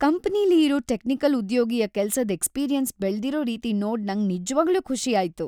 ಕಂಪನಿಲಿ ಇರೋ ಟೆಕ್ನಿಕಲ್'ಉದ್ಯೋಗಿಯ ಕೆಲ್ಸದ್ ಎಕ್ಸ್ಪೀರಿಯೆನ್ಸ್ ಬೆಳ್ದಿರೋ ರೀತಿ ನೋಡ್ ನಂಗ್ ನಿಜವಾಗ್ಲೂ ಖುಷಿ ಆಯ್ತ್.